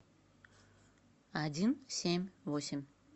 один семь восемь